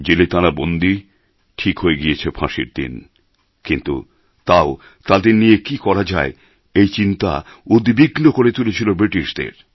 জেলে তাঁরা বন্দী ঠিক হয়ে গিয়েছে ফাঁসির দিন কিন্তু তাও তাঁদের নিয়ে কী করা যায় এই চিন্তা উদ্বিগ্ন করে তুলেছিল ব্রিটিশদের